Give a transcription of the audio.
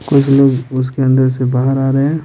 कुछ लोग उसके अंदर से बाहर आ रहे है।